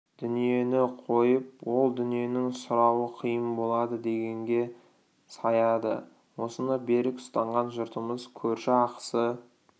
дүниені қойып ол дүниенің сұрауы қиын болады дегенге саяды осыны берік ұстанған жұртымыз көрші ақысы